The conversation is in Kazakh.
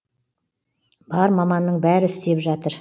бар маманның бәрі істеп жатыр